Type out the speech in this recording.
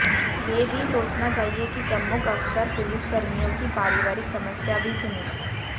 ये भी सोचना चाहिए कि प्रमुख अफसर पुलिसकर्मियों की पारिवारिक समस्या भी सुनें